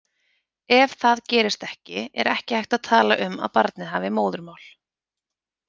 Ef það gerist ekki er ekki hægt að tala um að barnið hafi móðurmál.